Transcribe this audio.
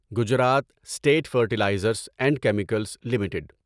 Gujarat State Fertilizers and Chemicals limited